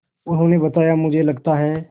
उन्होंने बताया मुझे लगता है